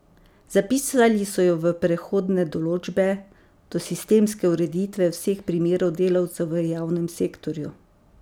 Zapisali so jo v prehodne določbe, do sistemske ureditve vseh primerov delavcev v javnem sektorju.